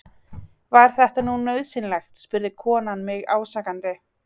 Var þetta nú nauðsynlegt? spurði konan mig ásakandi.